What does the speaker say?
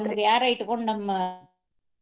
ಯಾರಾ ಇಟ್ಕೊಂಡ ನಮ್ಮ.